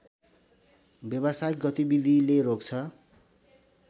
व्यवसायिक गतिविधिले रोक्छ